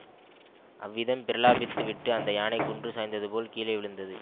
அவ்விதம் பிரலாபித்து விட்டு அந்த யானை குன்று சாய்ந்தது போல் கீழே விழுந்தது